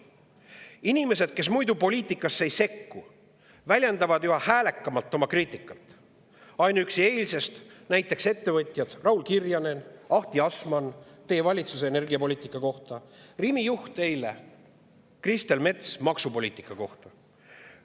Inimesed, kes muidu poliitikasse ei sekku, väljendavad üha häälekamalt kriitikat, ainuüksi eile näiteks ettevõtjad Raul Kirjanen ja Ahti Asmann teie valitsuse energiapoliitika kohta ja Rimi juht Kristel Mets maksupoliitika kohta.